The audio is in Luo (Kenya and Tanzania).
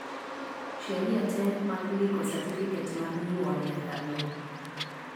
sheria te mag ndiko satifiket mar nyuol nyaka lu